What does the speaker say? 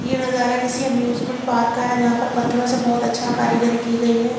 यहाँ नज़ारा किसी एमयूसमेंट पार्क का है जहा पर पत्थरों से बोहोत अच्छी कारीगरी कि गयी है।